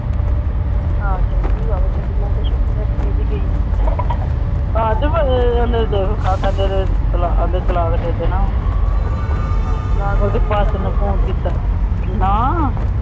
ਆ ਚਲੀ ਗਈ ਛੁੱਟੀ ਲੈ ਕੇ । ਓਹੰਦੀ ਸੱਸ ਨੂੰ ਫੋਨ ਕੀਤਾ।